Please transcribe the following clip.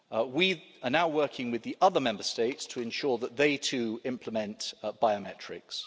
We are now working with the other Member States to ensure that they too implement biometrics.